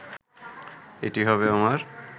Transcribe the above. এটি হবে আমার